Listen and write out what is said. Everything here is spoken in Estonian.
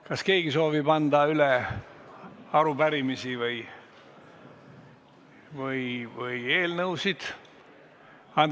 Kas keegi soovib anda üle arupärimisi või eelnõusid?